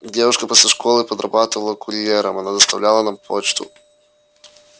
девушка после школы подрабатывала курьером она доставляла нам почту